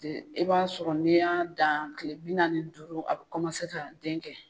De e b'a sɔrɔ ne y'a dan kile bi naani a ni duuru a be kɔmase ka denkɛ